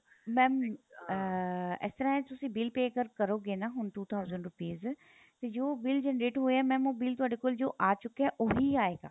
mam ਅਹ ਇਸ ਤਰ੍ਹਾਂ ਏ ਤੁਸੀਂ bill pay ਅਗਰ ਕਰੋਗੇ ਨਾ ਹੁਣ two thousand rupees ਜੋ bill generate ਹੋਇਆ mam ਉਹ ਬਿਲ ਤੁਹਾਡੇ ਕੋਲ ਜੋ ਆ ਚੁੱਕਿਆ ਉਹੀ ਆਏਗਾ